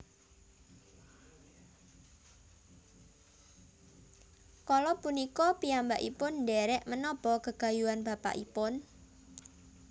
Kala punika piyambakipun ndhèrèk menapa gegayuhan bapakipun